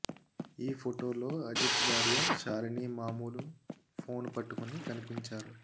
ఈ ఫోటో లో అజిత్ భార్య షాలిని మాములు ఫోన్ పట్టుకొని కనిపించారు